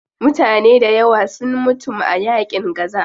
Mutane dayawa sun mutum a yaƙin gaza.